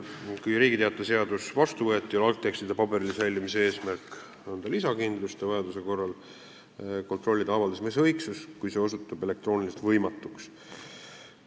Kui Riigi Teataja seadus vastu võeti, oli algtekstide paberil säilitamise eesmärk anda lisakindlust ja võimaldada vajaduse korral kontrollida avaldatu õigsust, kui see osutub elektrooniliselt võimatuks.